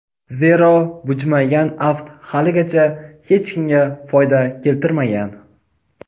zero bujmaygan aft haligacha hech kimga foyda keltirmagan.